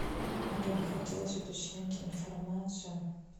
мне бы хотелось уточнить информацию